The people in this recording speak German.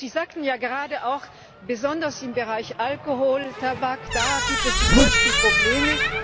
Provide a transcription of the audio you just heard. Sie sagten ja gerade, besonders im Bereich Alkohol, Tabak gibt es die größten Probleme.